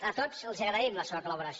a tots els agraïm la seva col·laboració